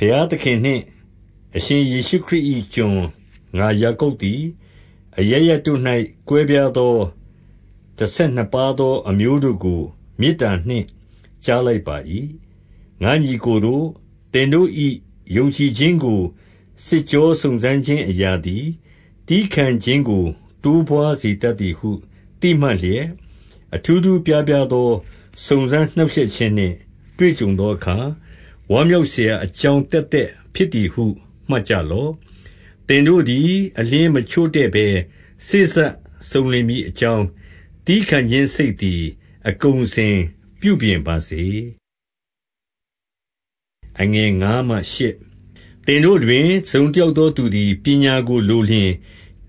ဘုရားသခင်နှင့်အရှင်ယေရှုခရစ်၏ကျွန် ငါယာကုပ်သည်၊ အရပ်ရပ်တို့၌ ကွဲပြားသော တဆယ် နှစ်ပါးသောအမျိုးတို့ကို မေတ္တာနှင့် ကြားလိုက်ပါ၏။ 2 ငါ့ညီအစ်ကိုတို့၊ သင်တို့၏ယုံကြည်ခြင်းကို စစ်ကြောစုံစမ်းခြင်းအရာသည် သည်းခံခြင်းကို ပွားစေ တတ်သည်ဟုသိမှတ်လျက်၊ အထူးထူးအပြားပြားစုံစမ်းနှောင့်ရှက်ခြင်းနှင့် တွေ့ကြုံသောအခါ၊ 3 ဝမ်းမြောက်စရာ အကြောင်းသက်သက်ဖြစ်သည်ဟု မှတ်ကြလော့။ 4 သင်တို့သည်အလျှင်းမချို့တဲ့ဘဲ စေ့စပ်စုံလင်မည်အကြောင်း၊ သည်းခံခြင်းစိတ်သည် အကုန်အစင်ပြု ပြင်ပါစေ။ 5 သင်တို့တွင် တစုံတယောက်သောသူသည် ပညာကိုလိုလျှင်၊